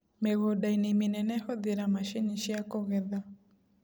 Mĩgũndainĩ mĩnene hũthĩra macini ciakũgetha.